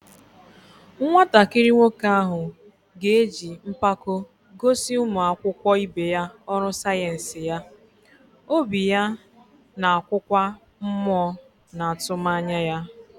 Nwatakịrị nwoke ahụ ga-eji mpako gosi ụmụ akwụkwọ ibe ya ọrụ sayensị ya, obi ya na-akụkwa mmụọ na atụmanya ya.